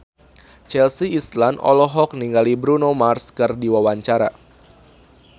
Chelsea Islan olohok ningali Bruno Mars keur diwawancara